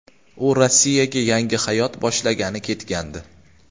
U Rossiyaga yangi hayot boshlagani ketgandi.